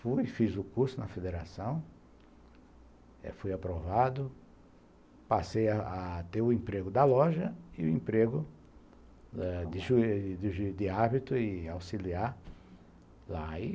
Fui, fiz o curso na federação, fui aprovado, passei a ter o emprego da loja e o emprego de árbitro e auxiliar lá.